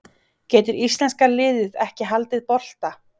Getur íslenska liðið ekki haldið bolta?